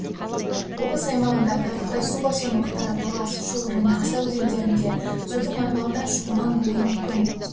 облыс аумағында айтарлықтай су басу аймақтары талас шу және аса өзендерінде судың арналардан шығунан болуы мүмкін